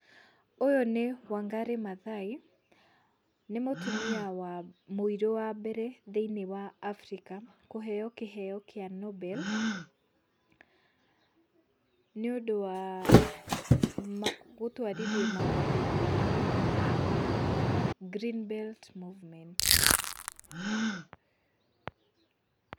ũyũ nĩ Wangarĩ Mathai, nĩ mũtumia wa, mũirũ wambere thĩiniĩ wa Africa kũheo kĩheo kĩa Nobel nĩũndũ wa gũtwarithia maũndũ ngũrani na Green Belt Movement.